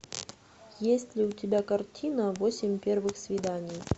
есть ли у тебя картина восемь первых свиданий